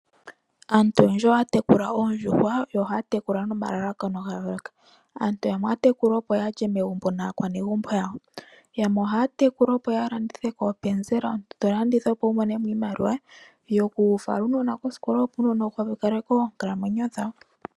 Aantu oyendji ohaya tekula oondjuhwa yo ohaya tekula nomalalakano ga yooloka, aantu yamwe ohaya tekula opo ya lye megumbo naakwanegumbo yawo, yamwe ohaya tekula opo ya landithe koopenzela omuntu to landitha opo Wu mone mo iimaliwa yokufala uunona koosikola, opo uunona Wu opaleke oonkalamwenyo dhawo.